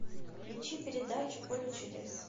включи передачу поле чудес